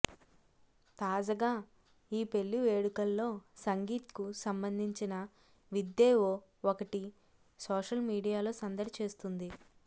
తాజగా ఈ పెళ్లి వేడుకల్లో సంగీత్కు సంబందించిన విద్దెఒ ఒకటి సోషల్ మీడియాలో సందడి చేస్తుంది